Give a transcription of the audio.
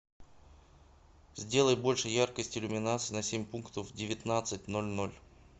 сделай больше яркость иллюминации на семь пунктов в девятнадцать ноль ноль